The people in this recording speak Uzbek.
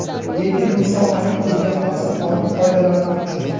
Lekin bu sohaning o‘ziga xos qonun-qoidalari mavjud.